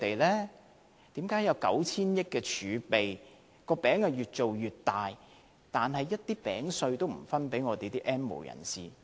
為何當局有 9,000 億元盈餘，"餅"越造越大，但一點餅屑也不分給 "N 無人士"？